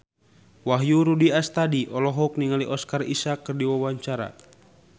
Wahyu Rudi Astadi olohok ningali Oscar Isaac keur diwawancara